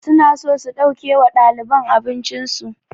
Su na so su ɗauke wa ɗaliban abincin su